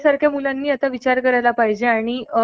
आता हे sound pollution च झालं